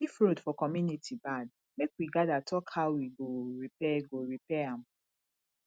if road for community bad make we gather talk how we go repair go repair am